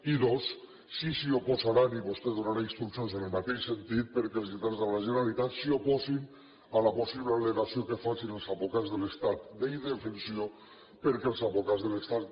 i dos si s’hi oposaran i vostè donarà instruccions en el mateix sentit perquè els lletrats de la generalitat s’oposin a la possible al·legació que facin els advocats de l’estat d’indefensió perquè els advocats de l’estat